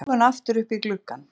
Augun aftur upp í gluggann.